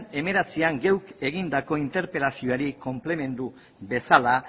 hemeretzian geuk egindako interpelazioari konplementu bezala